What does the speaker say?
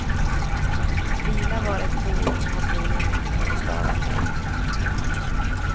Vila var ett ord han troligen inte kunde stava till.